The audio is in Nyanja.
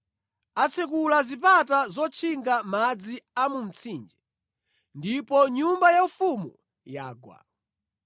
Atsekula zipata zotchinga madzi a mu mtsinje ndipo nyumba yaufumu yagwa.